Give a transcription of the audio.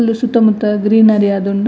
ಮುಲು ಸುತ್ತ ಮುತ್ತ ಗ್ರೀನರಿ ಆದುಂಡು.